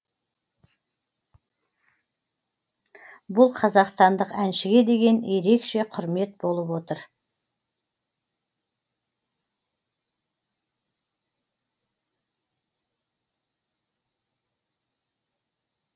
бұл қазақстандық әншіге деген ерекше құрмет болып отыр